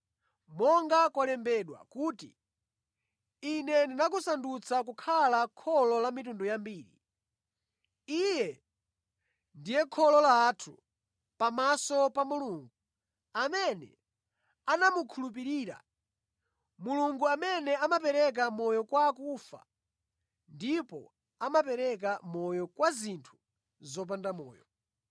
Monga kwalembedwa kuti, “Ine ndakusandutsa kukhala kholo la mitundu yambiri.” Iye ndiye kholo lathu pamaso pa Mulungu, amene anamukhulupirira, Mulungu amene amapereka moyo kwa akufa ndipo amapereka moyo kwa zinthu zopanda moyo.